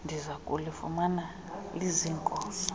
ndiza kulifumana liziinkozo